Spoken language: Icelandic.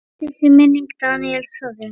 Blessuð sé minning Daníels Þóris.